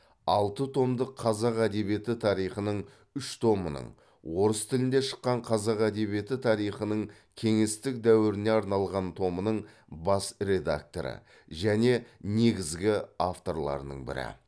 алты томдық қазақ әдебиеті тарихының үш томының орыс тілінде шыққан қазақ әдебиеті тарихының кеңестік дәуіріне арналған томының бас редакторы және негізгі авторларының бірі